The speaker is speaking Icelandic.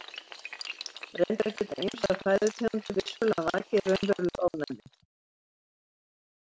Reyndar geta ýmsar fæðutegundir vissulega vakið raunverulegt ofnæmi.